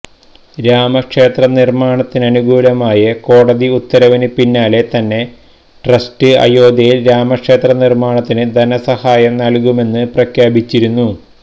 രാമ ക്ഷേത്ര നിര്മ്മാണത്തിനനുകൂലമായ കോടതി ഉത്തരവിന് പിന്നാലെ തന്നെ ട്രസ്റ്റ് അയോദ്ധ്യയില് രാമക്ഷേത്ര നിര്മ്മാണത്തിന് ധനസഹായം നല്കുമെന്ന് പ്രഖ്യാപിച്ചിരുന്നു